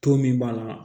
To min b'a la